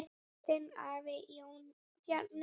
Þinn nafni, Jón Bjarni.